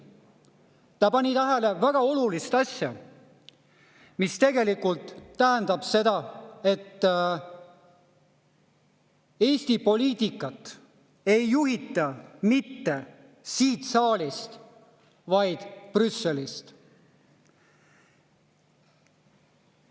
Ta pani tähele väga olulist asja, mis tegelikult tähendab seda, et Eesti poliitikat ei juhita mitte siit saalist, vaid Brüsselist.